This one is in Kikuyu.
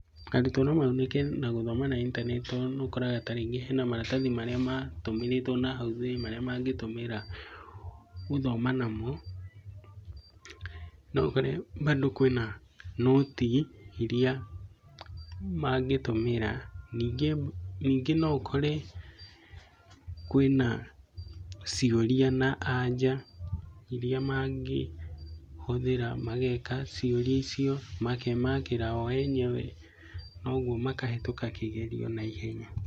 Arutwo no magunĩke na gũthoma na intaneti tondũ nĩũkoraga tarĩngĩ hena maratathi marĩa matũmĩrĩte nahau thutha, marĩa mangĩtũmĩra gũthoma namo. Noũkore bandũ kwĩna nũti iria mangĩtũmĩra. Nyingĩ noũkore kũĩna ciũria na aja iria mangĩhũthĩra mageka ciũria icio, makemakĩra o enyewe, kwoguo makahĩtũka kĩgerio na ihenya.